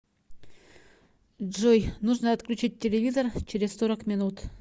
джой нужно отключить телевизор через сорок минут